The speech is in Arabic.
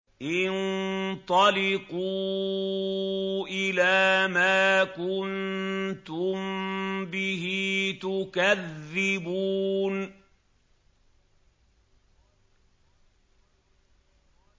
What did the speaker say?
انطَلِقُوا إِلَىٰ مَا كُنتُم بِهِ تُكَذِّبُونَ